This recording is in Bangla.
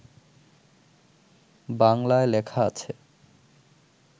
বাংলায় লেখা আছে